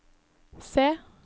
se